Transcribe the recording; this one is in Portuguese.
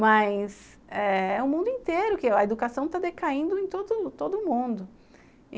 Mas é o mundo inteiro que a educação está decaindo em todo todo mundo.